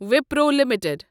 Wipro limited